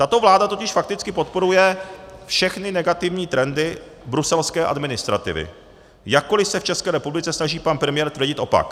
Tato vláda totiž fakticky podporuje všechny negativní trendy bruselské administrativy, jakkoliv se v České republice snaží pan premiér tvrdit opak.